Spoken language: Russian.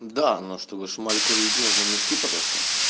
да но чтобы шмаль курить нужно мешки потоскать